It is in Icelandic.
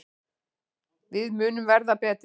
Við munum verða betri.